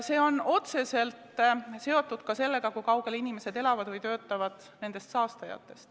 See on otseselt seotud ka sellega, kui kaugel nendest saastajatest inimesed elavad või töötavad.